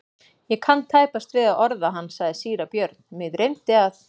Ég kann tæpast við að orða hann, sagði síra Björn,-mig dreymdi að.